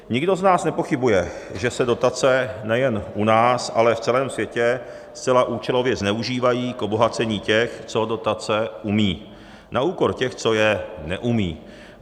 Nikdo z nás nepochybuje, že se dotace nejen u nás, ale v celém světě zcela účelově zneužívají k obohacení těch, co dotace umí, na úkor těch, co je neumí.